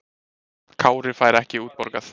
Kári fær ekki útborgað